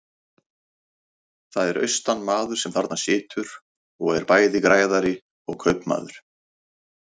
Það er austanmaður sem þarna situr og er bæði græðari og kaupmaður.